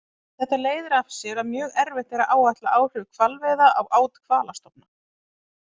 Þetta leiðir af sér að mjög erfitt er að áætla áhrif hvalveiða á át hvalastofna.